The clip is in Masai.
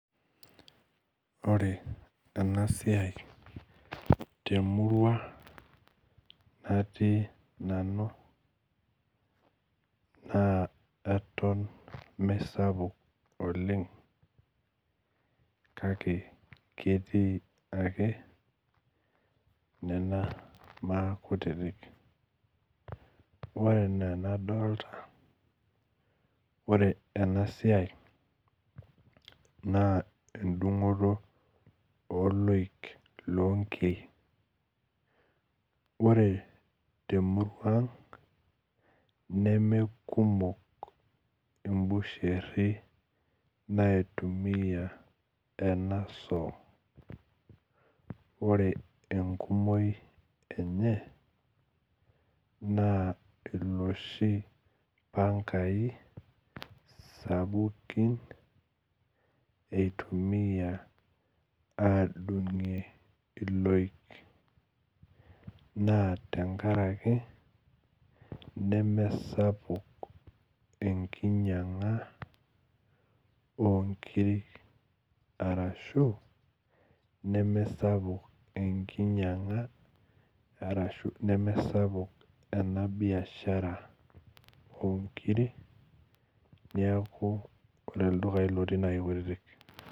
Ore enasiai temurua natii nanu na etom mesapuk oleng kake ketii ake nena baa kutitik ore ena nadolta ore enasia na endungoto oloik lonkiek ore temurua aang nemekumok imbusheri naitumia enasoo ore enkumoi enye na loshi pangai sapukin eitumia aadungie iloik na tenkaraki nemesapuk enkinyanga onkirik ashu mesapuk enkinyanga ashu nemesapuk enabiashara onkirik neaku ore ldukai otii na kekutitik.